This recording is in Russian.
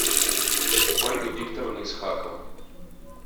ольга викторовна исхакова